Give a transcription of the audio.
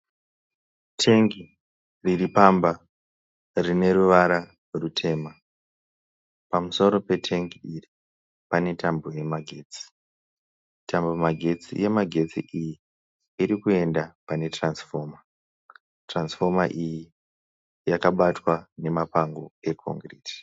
Tengi riripamba rineruvara rutema . Pamusoro petengi iri pane tambo yemagetsi. Tambo yemagetsi iyi irikuenda pene turatsifoma. Turatsifoma iyi yakabatwa nemapango eoridhe.